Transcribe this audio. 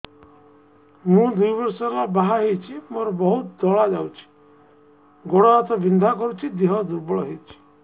ମୁ ଦୁଇ ବର୍ଷ ହେଲା ବାହା ହେଇଛି ମୋର ବହୁତ ଧଳା ଯାଉଛି ଗୋଡ଼ ହାତ ବିନ୍ଧା କରୁଛି ଦେହ ଦୁର୍ବଳ ହଉଛି